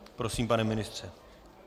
Prosím, pane ministře.